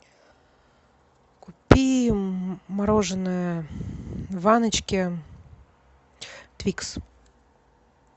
купи мороженое в ванночке твикс